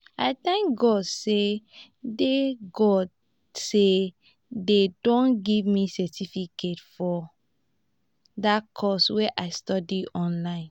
i thank god say dey god say dey don give me certificate for dat course wey i study online